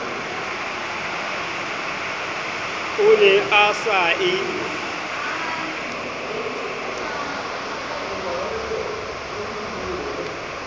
o ne a sa e